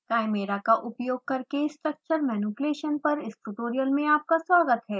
chimera का उपयोग करके structure manipulation पर इस ट्यूटोरियल में आपका स्वागत है